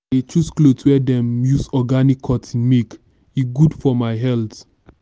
i dey choose clothes wey dem use organic cotton make e good for my health.